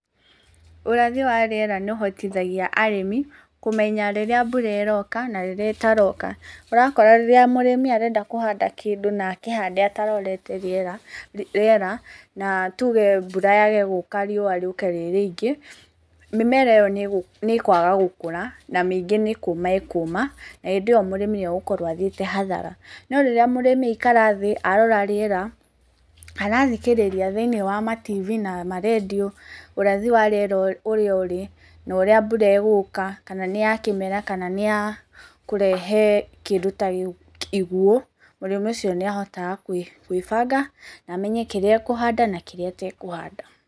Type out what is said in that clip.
Ũrathi wa rĩera nĩũhotithagia arĩmi kũmenya rĩrĩa mbura ĩroka na rĩrĩa ĩtaroka. Ũrakora rĩrĩa mũrĩmi arenda kũhanda kĩndũ nakĩhande atarorete rĩera, rĩera, na tuuge mbura yage gũka riũwa rĩũke rĩi rĩingĩ, mĩmera ĩyo nĩgũ, nĩĩkwaga gũkũra na mĩingĩ nĩkũũma ĩkũũma na hĩndĩyo mũrĩmi nĩegũkorwo athiĩte hathara. No rĩrĩa mũrĩmi aikara thĩ arora rĩera kana athikĩrĩria thĩiniĩ wa matv na maradio ũrathi wa rĩera ũrĩa ũrĩ norĩa mbura ĩgũũka kana nĩ ya kĩmera kana nĩya kũrehe kĩndũ ta gĩgũ, iguũ, mũrĩmi ũcio nĩahotaga kwĩ, gwĩbanga namenye kĩrĩa ekũhanda na kĩrĩa atekũhanda.